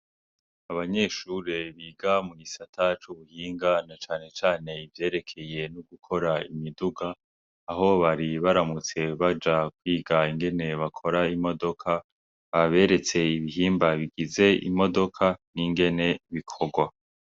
Abanyeshure biga mu gisata c'ubuhinga na cane cane ivyerekeye gukora imiduga, aho bari baramutse baja kwiga ingenebakora imodoka. Baberetse ibihimba bigize imodoka n'ingene bikorwa.